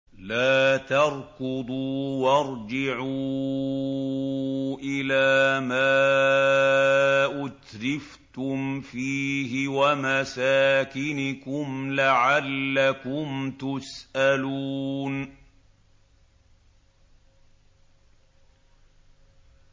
لَا تَرْكُضُوا وَارْجِعُوا إِلَىٰ مَا أُتْرِفْتُمْ فِيهِ وَمَسَاكِنِكُمْ لَعَلَّكُمْ تُسْأَلُونَ